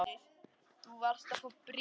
Þú varst að fá bréf.